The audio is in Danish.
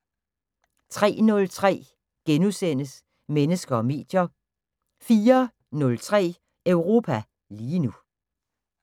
03:03: Mennesker og medier * 04:03: Europa lige nu